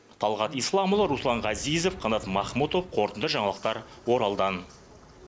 талғат исламұлы руслан ғазизов қанат махмұтов қорытынды жаңалықтар оралдан